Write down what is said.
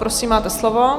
Prosím, máte slovo.